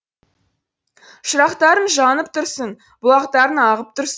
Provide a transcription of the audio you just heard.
шырақтарың жанып тұрсын бұлақтарың ағып тұрсын